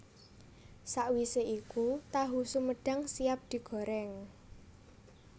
Sawisé iku tahu sumedhang siap digoréng